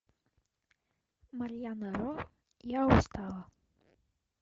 марьяна ро я устала